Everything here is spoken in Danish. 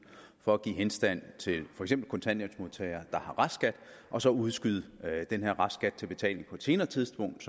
for at give henstand til for eksempel kontanthjælpsmodtagere der har restskat og så udskyde den her restskat til betaling på et senere tidspunkt